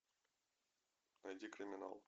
найди криминал